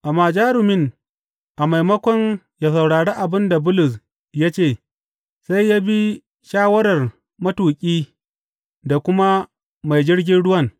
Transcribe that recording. Amma jarumin, a maimakon ya saurari abin da Bulus ya ce, sai ya bi shawarar matuƙi da kuma mai jirgin ruwan.